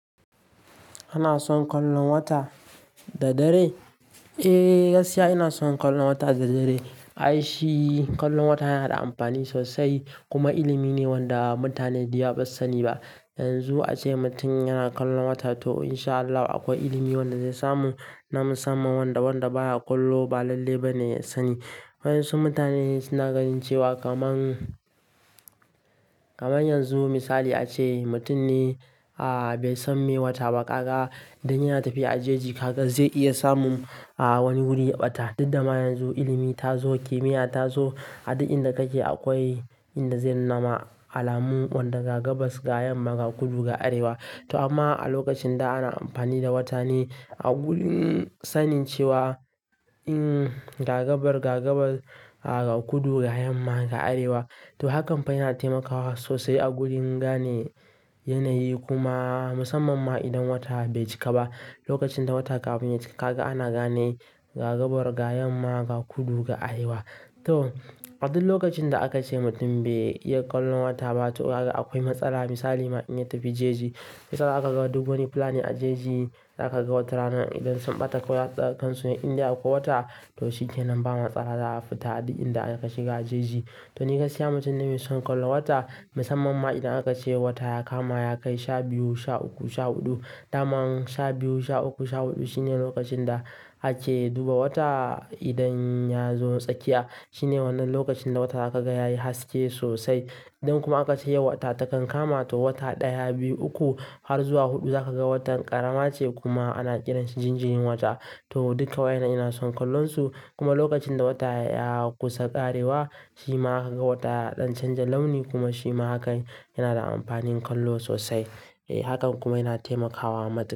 Kana son kallon wata da dare? Eh, gaskiya ina son kallon wata da dare. Ai shi kallon wata yana da amfani sosai kuma ilimi ne wanda mutane da yawa ba su sani ba. Yanzu ace mutum yana kallon wata to in sha Allahu akwai ilimi wanda zai samu na musamman wanda wanda baya kallo ba lalle ba ne ya sani. Wai ƴansu mutane suna ganin cewa kaman, kaman yanzu misali ace mutum ne a-a bai san me wata ba kaga idan yana tafiya a jeji kaga zai iya samun a-a wani guri ya ɓata. Duk dama yanzu ilimi ta zo, kimiyya ta zo. A duk inda kake akwai inda zai nuna alamun wanda ga gabas ga yamma ga kudu ga arewa. To amma a lokacin da ana amfani da wata ne a gurin sanin cewa in ga gabar ga gabar a ga kudu ga yamma ga arewa. To hakan fa yana taimakawa sosai a gurin gane yanayi kuma musamman ma idan wata bai cika ba. Lokacin da wata kafin ya cika kaga ana gane gagabar ga yamma ga kudu ga arewa. To a duk lokacin da aka ce mutum bai iya kallon wata ba to kaga akwai matsala. Misali ma in ya tafi jeji, shiya zaka ga duk wani fulani a jeji, za ka ga wata rana idan sun ɓata ko za su kan su Indai ko wata to shi kenan ba matsala za a fita a duk inda aka shiga a jeji. To ni gaskiya mutum na mai son kallo wata musamman ma idan aka ce wata ya kama ya kai sha biyu, sha uku, sha huɗu. Daman sha biyu, sha uku, sha huɗu shine lokacin da ake duba wata idan ya zo tsakiya. Shine wannan lokacin da wata za ka ga yayi haske sosai. Idan kuma aka ce yau wata takan kama to wata ɗaya, biyu, uku har zuwa huɗu za ka ga watan ƙarama ce kuma ana kiranshi jinjirin wata. To duka waƴan nan ina son kallon su kuma lokacin da wata ya kusa ƙarewa shi ma zaka ga wata ya ɗan canza launi kuma shi ma hakan yana da amfanin kallo sosai. Eh hakan kuma yana taimakawa madami.